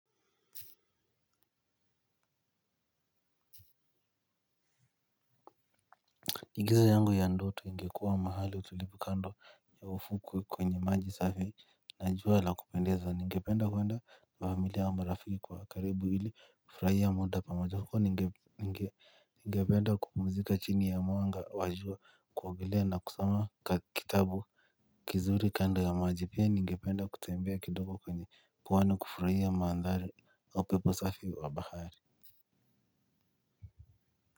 Ingizo yangu ya ndoto ingekuwa mahali utulivu kando ya ufukwe kwenye maji safi na jua la kupendeza ningependa kuenda na familia na marafiki wa karibu ili kufurahia muda pamajo huko ningependa kupumzika chini ya mwanga wa jua kuogelea na kusoma kitabu kizuri kando ya maji pia ningependa kutembea kidogo kwenye kuwane kufurahia maandhari au pepo safi wa bahari. Kwa hivyo.